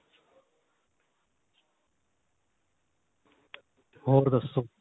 ਹੋਰ ਦੱਸੋ